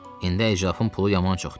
İndi Eycəfin pulu yaman çoxdu.